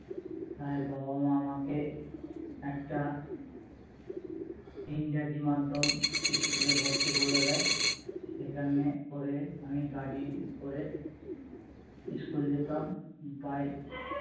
তাই বাবা মা আমাকে একটা ইংরাজি মাধ্যম school এ ভর্তি করে দেয় সেখানে করে আমি গাড়ি করে school যেতাম